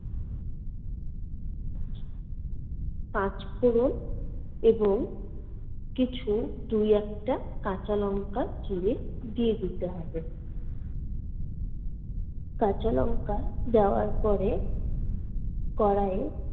পাঁচ ফোড়ন এবং কিছু দুই একটা কাঁচা লংকা চিরে দিয়ে দিতে হবে। কাঁচা লংকা দেওয়ার পরে কড়াইয়ে